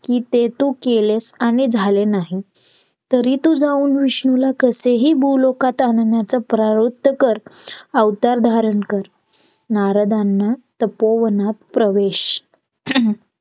कि ते तू केलेस आणि झाले नाही तरीही तू जाऊन विष्णूंना कसेही बोलवं त्यांना आणण्याचा प्रयन्त कर अवतार धारण कर नारदांना तपोवनात प्रवेश